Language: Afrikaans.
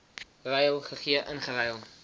ruil gegee ingeruil